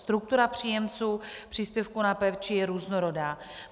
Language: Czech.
Struktura příjemců příspěvku na péči je různorodá.